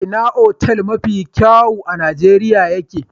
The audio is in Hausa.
Ina otal mafi kyawun a Nijeriya ye ke?